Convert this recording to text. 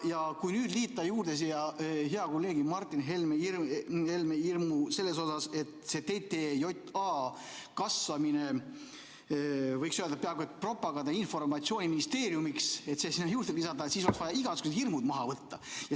Ja kui nüüd liita juurde siia hea kolleegi Martin Helme hirm selles osas, et TTJA kasvab, võiks öelda, et peaaegu propaganda- ja informatsiooniministeeriumiks, siis oleks vaja igasugused hirmud maha võtta.